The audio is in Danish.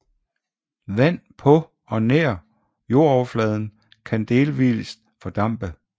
Vand på og nær jordoverfladen kan delvist fordampe